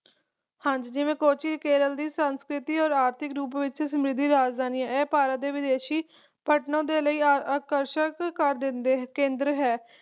ਹਾਂਜੀ ਜਿਵੇ ਕੋਚੀਨ ਕੇਰਲ ਦੇ ਸੰਸਕ੍ਰਿਤੀ ਔਰ ਆਰਥਿਕ ਰੂਪ ਵਿਚ ਸਮਰਿਧ ਰਾਜਧਾਨੀ ਹੈ ਇਹ ਭਾਰਤ ਦੇ ਵਿਦੇਸ਼ੀ ਲਈ ਆਕਰਸ਼ਣ ਦਾ ਕੇਂਦਰ ਹੈ